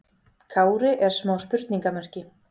Kári er smá spurningamerki.